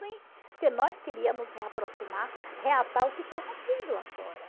Sim. Porque nós queríamos reaproximar, reatar o que foi rompido lá fora.